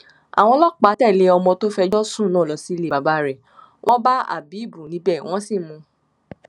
àwọn ọlọpàá tẹlẹ ọmọ tó fẹjọ sùn náà lọ sílé bàbá rẹ wọn bá hábíbù níbẹ wọn sì mú un